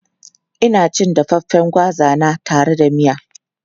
Ina cin dafaffen gwaza na tare da miya.